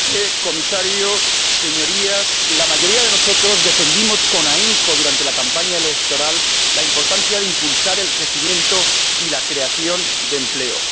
Señor Presidente, señor Comisario, Señorías, la mayoría de nosotros defendimos con ahínco durante la campaña electoral la importancia de impulsar el crecimiento y la creación de empleo.